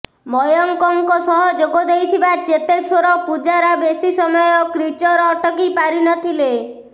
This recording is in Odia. ମୟଙ୍କଙ୍କ ସହ ଯୋଗଦେଇଥିବା ଚେତେଶ୍ବର ପୂଜାରା ବେଶି ସମୟ କ୍ରିଚର୍ ଅଟକି ପାରିନଥିଲେ